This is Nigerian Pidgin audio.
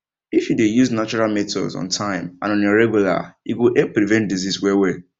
if you dey use natural methods on time and on a regular e go help prevent disease wellwell